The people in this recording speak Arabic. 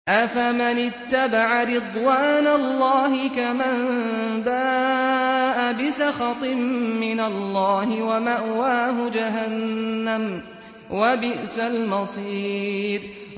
أَفَمَنِ اتَّبَعَ رِضْوَانَ اللَّهِ كَمَن بَاءَ بِسَخَطٍ مِّنَ اللَّهِ وَمَأْوَاهُ جَهَنَّمُ ۚ وَبِئْسَ الْمَصِيرُ